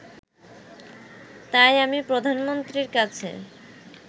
তাই আমি প্রধানমন্ত্রীর কাছে